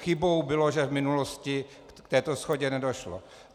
Chybou bylo, že v minulosti k této shodě nedošlo.